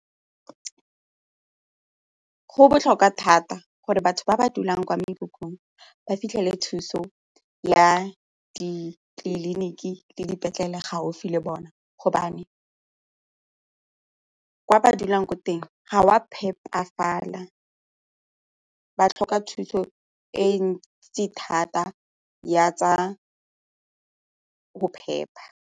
Go botlhokwa thata gore batho ba ba dulang kwa mekhukhung ba fitlhele thuso ya ditleliniki le dipetlele gaufi le bona gobane ko ba dulang ko teng ga go a phepafala, ba tlhoka thuso e ntsi thata ya tsa go phepa.